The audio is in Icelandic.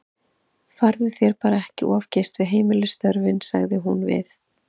Farðu þér bara ekki of geyst við heimilisstörfin, sagði hún við